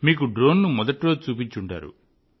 మీకు డ్రోన్ ను మొదటి రోజు చూపించి ఉంటారు